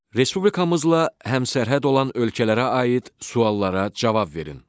Respublikamızla həmsərhəd olan ölkələrə aid suallara cavab verin.